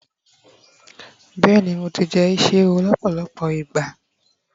béèni mo ti jẹ isi ẹwù lọpọlọpọ ìgbà